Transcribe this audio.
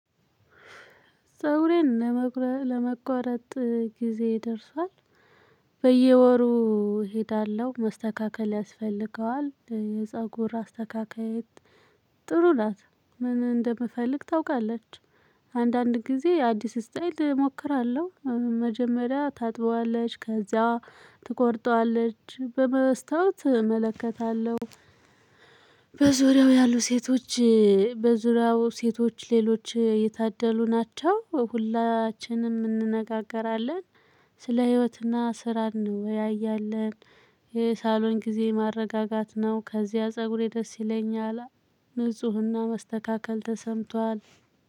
ፀጉሬን ለመቁረጥ ጊዜ ደርሷል። በየወሩ እሄዳለሁ መስተካከል ያስፈልገዋል የፀጉር አስተካካይ። ጥሩ ናት ምን እንደምፈልግ ታውቃለች። አንዳንድ ጊዜ አዲስ ስታይል እሞክራለሁ መጀመሪያ ታጥበዋለች ከዚያ ትቆርጠዋለች በመስታወት እመለከታለሁ። በዙሪያው ያሉ ሴቶች በዙሪያው ሴቶች ሌሎች የታደሉ ናቸው። ሁላችንም እንነጋገራለን ስለ ህይወትና ስራ እንወያያለን። የሳሎን ጊዜ ማረጋጋት ነው። ከዚያ ፀጉሬ ደስ ይለኛል። ንፁህና መስተካከል ተሰምቷል።